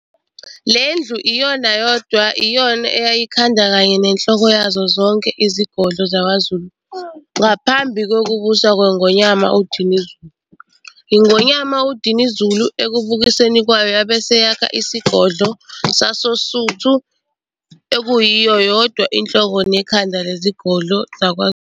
Lendlu iyona yodwa iyona eyayiyikhanda kanye nenhloko yazo zonke izigodlo zakwaZulu ngaphambi kokubusa kweNgonyama uDinuzulu. INgonyama uDinuzulu ekubuseni kwayo yabe seyakha isigodlo sasoSuthu okuyiyona yodwa inhloko nekhanda lezigodlo zakwaZulu.